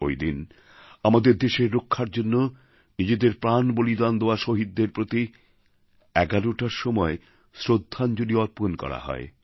ওই দিন আমাদের দেশের রক্ষার জন্য নিজেদের প্রাণ বলিদান দেওয়া শহীদদের প্রতি ১১টার সময় শ্রদ্ধাঞ্জলি অর্পণ করা হয়